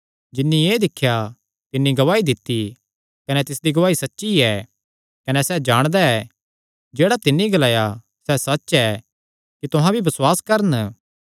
जिन्नी एह़ दिख्या तिन्नी गवाही दित्ती ऐ कने तिसदी गवाही सच्ची ऐ कने सैह़ जाणदा ऐ जेह्ड़ा तिन्नी ग्लाया सैह़ सच्च ऐ कि तुहां भी बसुआस करन